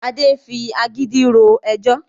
Adé ń fi agídí ro ẹjọ́